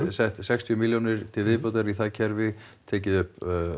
sett sextíu milljónir til viðbótar í það kerfi tekið upp